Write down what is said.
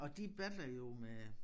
Og de battler jo med